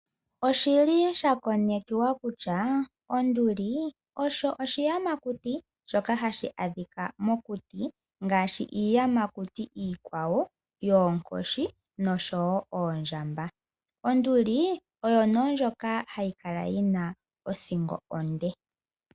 Oshili sha konekiwa kutya onduli osho oshiyamakuti shoka hashi adhika mokuti ngaashi iiyamakuti iikwawo yoonkoshi oshowo oondjamba. Onduli oyo nee ndjoka hayi kala yina othingo onde.